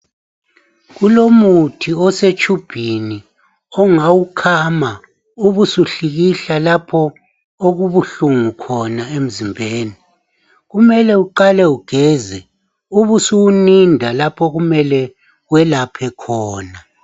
Kulomuthi osetshubhini ongawukhama ubusuhlikihla okubuhlungu khona emzimbeni kumele uqale ugeze ubusuwunida lapho okumele welaphe khona